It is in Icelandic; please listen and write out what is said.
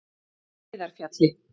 Heiðarfjalli